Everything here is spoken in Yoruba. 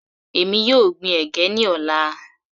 Èmi yóò gbin ẹ̀gẹ́ ní ọ̀la.